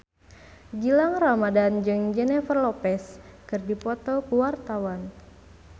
Gilang Ramadan jeung Jennifer Lopez keur dipoto ku wartawan